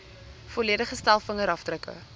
volledige stel vingerafdrukke